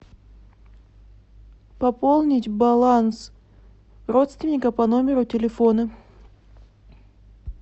пополнить баланс родственника по номеру телефона